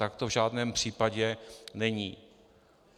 Tak to v žádném případě není.